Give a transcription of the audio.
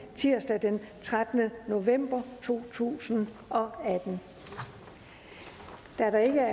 tirsdag den trettende november to tusind og atten der ikke